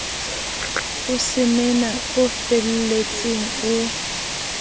o semena o felletseng o